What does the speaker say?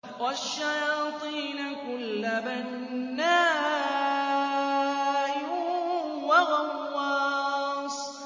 وَالشَّيَاطِينَ كُلَّ بَنَّاءٍ وَغَوَّاصٍ